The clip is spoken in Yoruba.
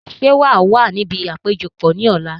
Sé wàá wà níbi àpéjọpọ̀ ní ọ̀la?